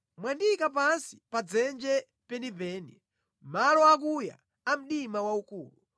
Mwandiyika pansi pa dzenje penipeni, mʼmalo akuya a mdima waukulu.